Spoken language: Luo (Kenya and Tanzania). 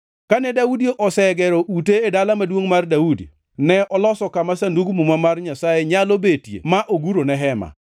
Kane Daudi osegero ute e Dala Maduongʼ mar Daudi, ne oloso kama Sandug Muma mar Nyasaye nyalo betie ma ogurone hema.